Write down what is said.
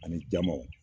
Ani jamaw